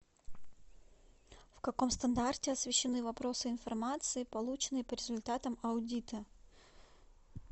в каком стандарте освещены вопросы информации полученной по результатам аудита